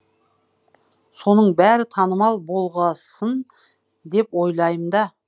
соның бәрі танымал болғасын деп ойлайм да